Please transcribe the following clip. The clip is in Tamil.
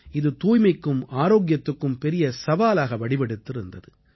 இது தூய்மைக்கும் ஆரோக்கியத்துக்கும் பெரிய சவாலாக வடிவெடுத்து இருந்தது